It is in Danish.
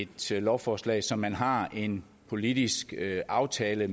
til et lovforslag som man har en politisk aftale